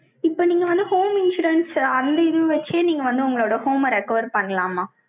இப்ப நீங்க வந்து, home insurance அந்த இது வச்சே, நீங்க வந்து, உங்களோட home அ, recover பண்ணலாமா?